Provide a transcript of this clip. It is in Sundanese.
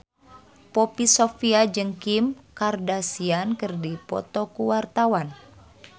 Poppy Sovia jeung Kim Kardashian keur dipoto ku wartawan